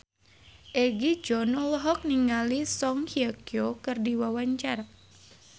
Egi John olohok ningali Song Hye Kyo keur diwawancara